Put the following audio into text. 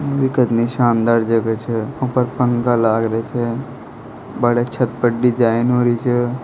यह कितनी शानदार जगह छे ऊपर पंखा लाग रे छे बड़े छत पर डिजाइन हो री छे।